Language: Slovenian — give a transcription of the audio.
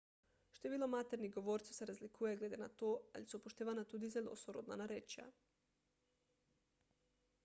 število maternih govorcev se razlikuje glede na to ali so upoštevana tudi zelo sorodna narečja